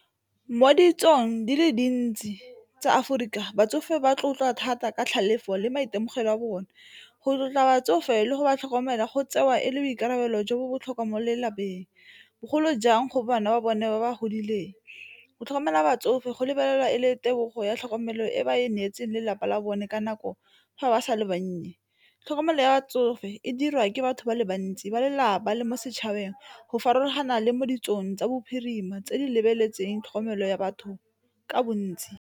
Mo ditsong di le dintsi tsa Aforika batsofe ba tlotla thata ka tlhalefo le maitemogelo a bone, go tlotla batsofe le go ba tlhokomela go tsewa e le boikarabelo jo bo botlhokwa mo lelapeng bogolo jang go bana ba bone ba ba godileng. Go tlhokomela batsofe go lebelela e le tebogo ya tlhokomelo e ba e neetsweng lelapa la bone ka nako fa ba sa le bannye. Tlhokomelo ya batsofe e dira ke batho ba le bantsi, ba lelapa le mo setšhabeng go farologana le mo ditsong tsa bophirima tse di lebeletseng tlhokomelo ya batho ka bontsi.